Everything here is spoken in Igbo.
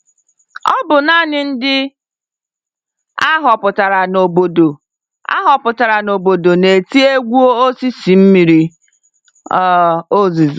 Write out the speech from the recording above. Ọbụ nanị ndị ahọpụtara n'obodo ahọpụtara n'obodo na-eti egwu osisi mmiri um ozuzo